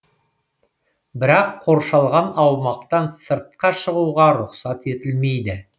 бірақ қоршалған аумақтан сыртқа шығуға рұқсат етілмейді